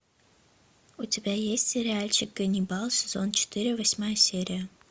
у тебя есть сериальчик ганнибал сезон четыре восьмая серия